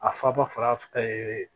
A faba fa yee